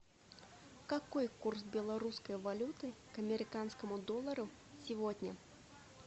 какой курс белорусской валюты к американскому доллару сегодня